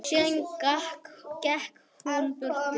Síðan gekk hann burtu.